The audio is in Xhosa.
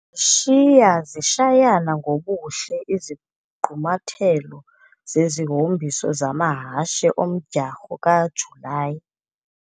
Shiya-zishayana ngobuhle izigqumathelo zezihombiso zamahashe omdyarho kaJulayi.